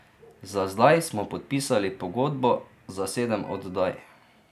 Za zdaj smo podpisali pogodbo za sedem oddaj.